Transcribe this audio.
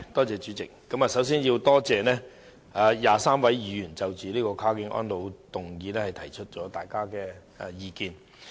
主席，我首先要感謝23位議員就"跨境安老"這項議案提出意見。